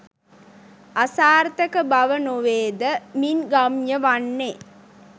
අසාර්ථක බව නොවේද මින් ගම්‍ය වන්නේ.